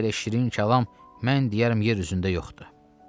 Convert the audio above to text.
Bir belə şirin kəlam mən deyərəm yer üzündə yoxdur.